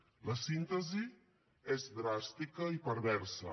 la síntesi és dràstica i perversa